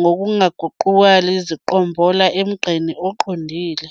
ngokungaguquli ziqombola emgqeni oqondile.